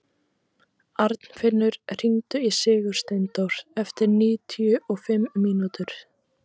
Arnfinnur, hringdu í Sigursteindór eftir níutíu og fimm mínútur.